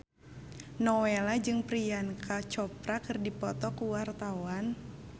Nowela jeung Priyanka Chopra keur dipoto ku wartawan